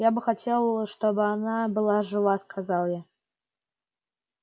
я бы хотел чтобы она была жива сказал я